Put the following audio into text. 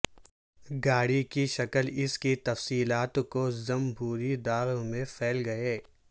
گاڑی کی شکل اس کی تفصیلات کو ضم بھوری داغ میں پھیل گئے